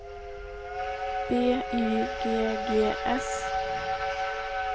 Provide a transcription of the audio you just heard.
B Y G G S